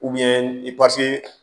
i pase